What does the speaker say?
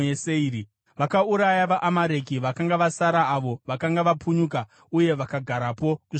Vakauraya vaAmareki vakanga vasara avo vakanga vapunyuka, uye vakagarapo kusvikira nhasi.